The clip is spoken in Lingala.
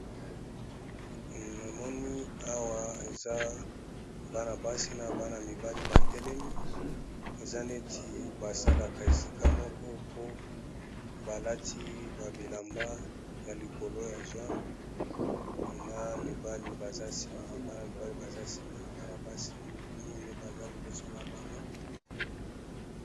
Na moni awa eza bana-basi na bana mibale batelemi eza neti basalaka esika moko po balati ba bilamba ya likolo ya jaune na mibali baza nsima Bana mibali baza sima bana basi mineyi baza liboso na bango.